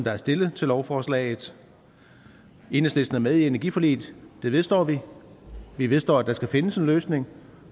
er stillet til lovforslaget enhedslisten er med i energiforliget det vedstår vi vi vedstår at der skal findes en løsning